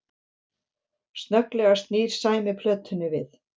Snögglega snýr Sæmi plötunni við